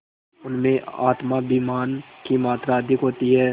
उनमें आत्माभिमान की मात्रा अधिक होती है